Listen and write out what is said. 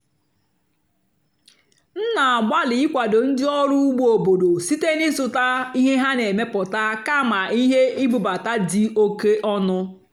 m nà-àgbàlị́ ị́kwàdó ndí ọ́rụ́ ùgbó óbòdò síte n'ị́zụ́tá íhé há nà-èmepụ́tá kàmà íhé ìbúbátá dì óké ónú.